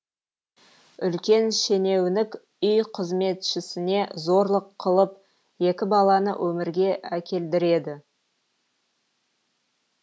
үлкен шенеунік үй қызметшісіне зорлық қылып екі баланы өмірге әкелдіреді